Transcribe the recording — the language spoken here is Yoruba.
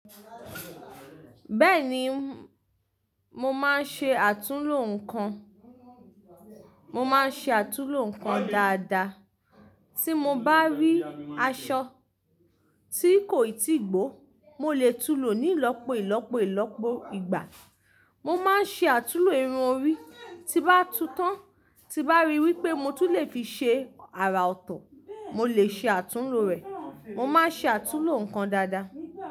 Bẹ́ẹ̀ni, mo máa ń ṣe àtúnlò nǹkan, mo máa ń ṣe àtúnlò nǹkan dáadáa. Tí mo bá rí aṣọ tí kò ì tíì gbó, mo lè tun lò ní ìlọ́po ìlọ́po ìlọ́po ìgbà. Mo máa ń ṣe àtúnlò irun orí, ti bá tu tán, ti bá ri wípé mo tún lè fi ṣe àrà ọ̀tọ̀, mo lè ṣe àtúnlò o rẹ̀. Mo máa ń ṣe àtúlo nǹkan dáadáa.